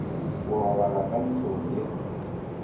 go robala ka ntlong ye